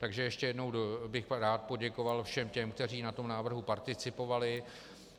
Takže ještě jednou bych rád poděkoval všem těm, kteří na tom návrhu participovali.